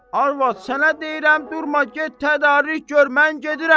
Arvad, sənə deyirəm, durma get, tədarük gör, mən gedirəm.